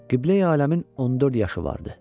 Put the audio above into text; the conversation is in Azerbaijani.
Qibləyi aləmin 14 yaşı vardı.